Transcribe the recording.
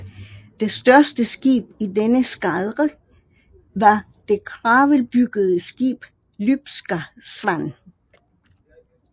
Det største skib i denne eskadre var det kravelbyggede skib Lybska Svan